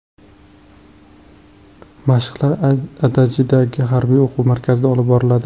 Mashqlar Adajidagi harbiy o‘quv markazida olib boriladi.